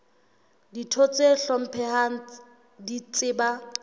ditho tse hlomphehang di tseba